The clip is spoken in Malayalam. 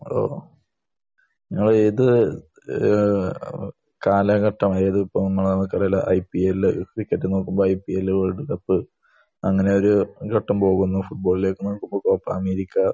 ഓഹ്. നിങ്ങൾ ഏത് ഏഹ് കാലഘട്ടം അതായത് ഇപ്പോൾ നമുക്ക് ഇടയിലെ ഐ.പി.എൽ. ക്രിക്കറ്റിൽ നോക്കുമ്പോൾ ഐ.പി.എൽ, വേൾഡ് കപ്പ് അങ്ങനെയൊരു ഒരു ഘട്ടം പോകുന്നു. ഫുട്ബോളിലേക്ക് കോപ്പ അമേരിക്ക